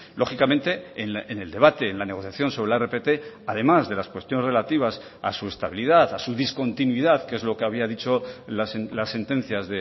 lógicamente en el debate en la negociación sobre la rpt además de las cuestiones relativas a su estabilidad a su discontinuidad que es lo que había dicho las sentencias